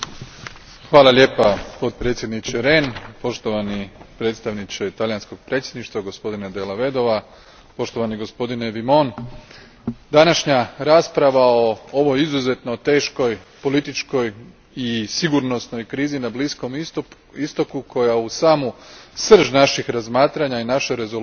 Hvala potpredsjedniče Rehn, poštovani predstavniče talijanskog predsjedništva, gospodine Della Vedova, poštovani gospodine Vimont, današnja rasprava o ovoj izuzetno teškoj političkoj i sigurnosnoj krizi na Bliskom Istoku koja stavlja u samu srž naših razmatranja i naše rezolucije